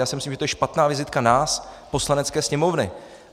Já si myslím, že to je špatná vizitka nás, Poslanecké sněmovny.